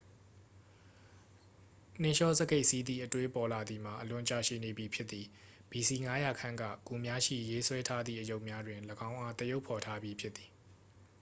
နှင်းလျောစကိတ်စီးသည့် အတွေးပေါ်လာသည်မှာ အလွန်ကြာရှည်နေပြီဖြစ်သည် ဘီစီ 500 ခန့်က ဂူများရှိ ရေးဆွဲထားသည့်အရုပ်များတွင် ၎င်းအား သရုပ်ဖော်ထားပြီး ဖြစ်သည်